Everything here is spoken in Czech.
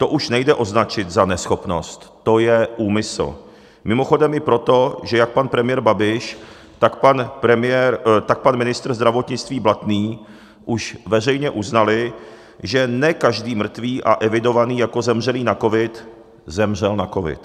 To už nejde označit za neschopnost, to je úmysl, mimochodem i proto, že jak pan premiér Babiš, tak pan ministr zdravotnictví Blatný už veřejně uznali, že ne každý mrtvý a evidovaný jako zemřelý na covid zemřel na covid.